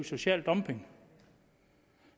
social dumping